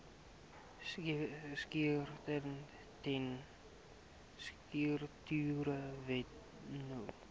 strukture wet no